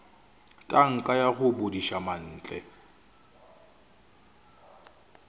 tanka ya go bodiša mantle